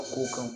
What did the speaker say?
A ko kan